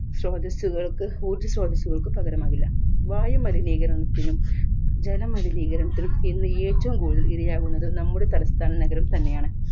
സ്രോതസ്സുകൾക്ക് ഊർജ സ്രോതസ്സുകൾക് പകരമാകില്ല വായുമലിനീകരണത്തിനും ജല മലിനീകരണത്തിനും ഇന്ന് ഏറ്റവും കൂടുതൽ ഇരയാകുന്നത് നമ്മുടെ തലസ്ഥാന നഗരം തന്നെയാണ്